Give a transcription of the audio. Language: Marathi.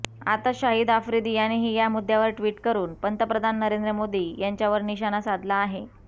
आता शाहिद आफ्रिदी यानेही या मुद्द्यावर ट्वीट करून पंतप्रधान नरेंद्र मोदी यांच्यावर निशाणा साधला आहे